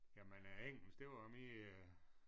Jamen øh engelsk det var jo min øh